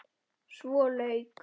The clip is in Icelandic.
Svo lauk.